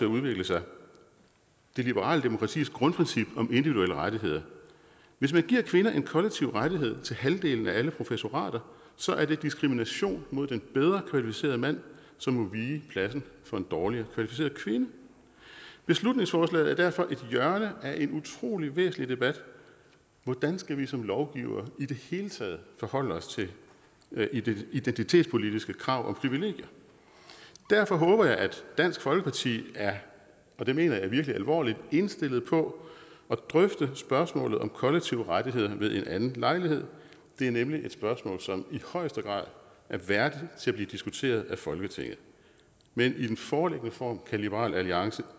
udvikle sig det liberale demokratis grundprincip om individuelle rettigheder hvis man giver kvinder en kollektiv rettighed til halvdelen af alle professorater så er det diskrimination mod den bedre kvalificerede mand som må vige pladsen for en dårligere kvalificeret kvinde beslutningsforslaget er derfor et hjørne af en utrolig væsentlig debat hvordan skal vi som lovgivere i det hele taget forholde os til identitetspolitiske krav om privilegier derfor håber jeg at dansk folkeparti og det mener jeg virkelig alvorligt er indstillet på at drøfte spørgsmålet om kollektive rettigheder ved en anden lejlighed det er nemlig et spørgsmål som i højeste grad er værdigt til at blive diskuteret af folketinget men i den foreliggende form kan liberal alliance